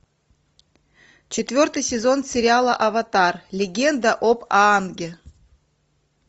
четвертый сезон сериала аватар легенда об аанге